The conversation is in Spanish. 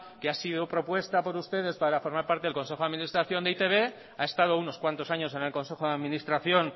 que ha sido propuesta por ustedes para formar parte del consejo de administración de e i te be ha estado unos cuantos años en el consejo de administración